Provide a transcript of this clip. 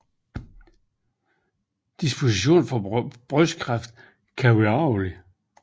Disposition for brystkræft kan være arvelig